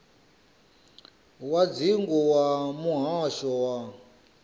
wa dzingu wa muhasho wa